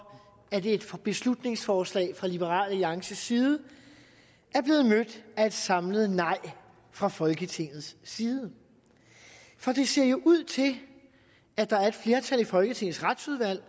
at et beslutningsforslag fra liberal alliances side er blevet mødt af et samlet nej fra folketingets side for det ser jo ud til at der er et flertal i folketingets retsudvalg